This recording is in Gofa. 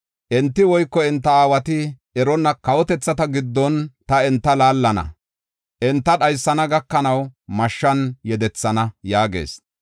Enti woyko enta aawati eronna kawotethata giddon ta enta laallana. Enta dhaysana gakanaw mashshan yedethana” yaagees.